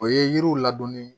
O ye yiriw ladonni